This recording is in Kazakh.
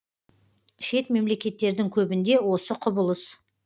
шет мемлекеттердің көбінде осы құбылыс